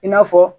I n'a fɔ